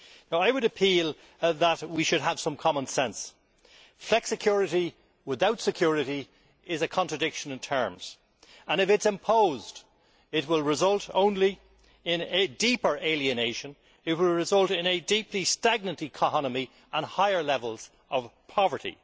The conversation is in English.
I would urge that we have some common sense. Flexicurity without security is a contradiction in terms and, if it is imposed, it will result only in deeper alienation. It will result in a deeply stagnant economy and higher levels of poverty.